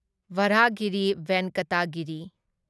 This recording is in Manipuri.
ꯚꯔꯥꯍꯒꯤꯔꯤ ꯚꯦꯟꯀꯇ ꯒꯤꯔꯤ